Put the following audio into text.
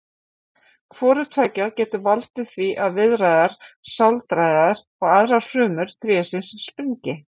Hvort tveggja getur valdið því að viðaræðar, sáldæðar og aðrar frumur trésins springi.